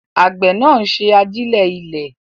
Àgbẹ̀ náà ń ṣe àjílẹ̀ ilẹ̀.